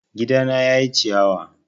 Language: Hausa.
Gidana ya ƴi ciyawa